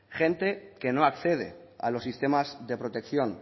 gente que no accede a los sistemas de protección